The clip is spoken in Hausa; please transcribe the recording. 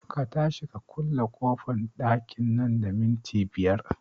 Ka tashi ku kulle ƙofan ɗakin nan da minti biyar